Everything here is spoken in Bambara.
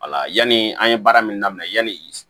Wala yanni an ye baara min daminɛ yanni